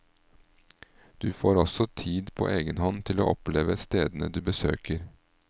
Du får også tid på egen hånd til å oppleve stedene du besøker.